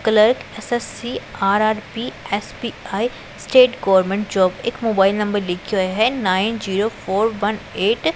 clerk S S C R R P S P I state government job ਇੱਕ mobile number ਲਿਖਿਆ ਹੋਇਆ ਹੈ nine zero four one eight --